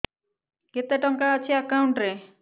କେତେ ଟଙ୍କା ଅଛି ଏକାଉଣ୍ଟ୍ ରେ